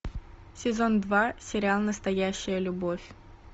сезон два сериал настоящая любовь